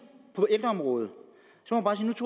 på ældreområdet